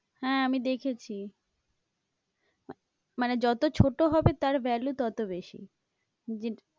হ্যাঁ, আমি দেখেছি মানে যত ছোট হবে তার value ততো বেশি।